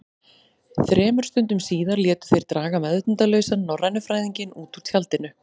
Þremur stundum síðar létu þeir draga meðvitundarlausan norrænufræðinginn út úr tjaldinu.